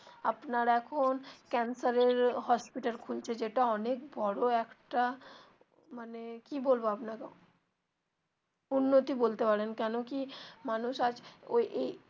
আপনার এখন ক্যান্সার এর hospital খুলছে যেটা অনেক বড়ো একটা মানে কি বলবো আপনাকে উন্নতি বলতে পারেন কেন কি মানুষ আজ ওই এই.